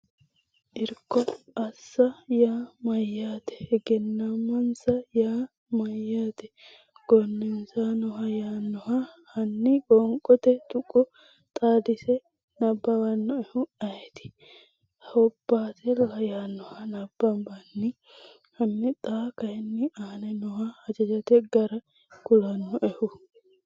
Irko assa yaa mayyaate? Egennaa’misa yaa mayyaate? gooneessannoha yaannoha hanni Qoonqote tuqqo xaadise nabbawannoehu ayeeti? hobbaatella yaannoha nabbambanni Hanni xa kayinni aane nooha hajajjote gara kulannoehu?